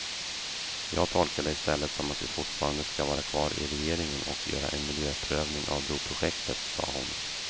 Jag tolkar det i stället som att vi fortfarande ska vara kvar i regeringen och göra en miljöprövning av broprojektet, sade hon.